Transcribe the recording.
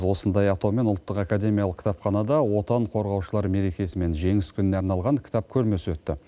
осындай атаумен ұлттық академиялық кітапханада отан қорғаушылар мерекесі мен жеңіс күніне арналған кітап көрмесі өтті